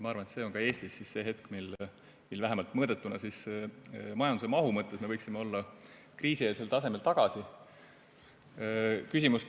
Ma arvan, et see on ka Eestis see hetk, mil vähemalt mõõdetuna majanduse mahu mõttes me võiksime olla kriisieelsel tasemel tagasi.